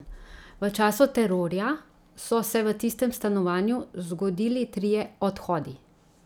V času terorja so se v tistem stanovanju zgodili trije odhodi.